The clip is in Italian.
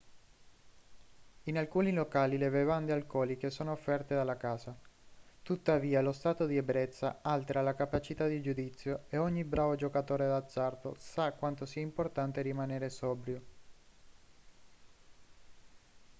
in alcuni locali le bevande alcoliche sono offerte dalla casa tuttavia lo stato di ebbrezza altera la capacità di giudizio e ogni bravo giocatore d'azzardo sa quanto sia importante rimanere sobrio